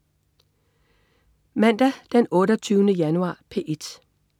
Mandag den 28. januar - P1: